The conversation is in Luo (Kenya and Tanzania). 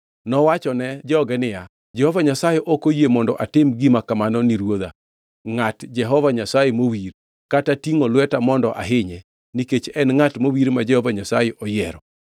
Nowachone joge niya, “Jehova Nyasaye ok oyie mondo atim gima kamano ni ruodha, ngʼat Jehova Nyasaye mowir, kata tingʼo lweta mondo ahinye; nikech en ngʼat mowir ma Jehova Nyasaye oyiero.”